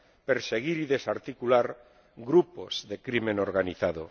perseguir y desarticular grupos de crimen organizado